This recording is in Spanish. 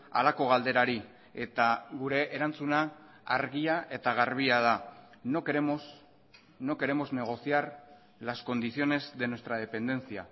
halako galderari eta gure erantzuna argia eta garbia da no queremos no queremos negociar las condiciones de nuestra dependencia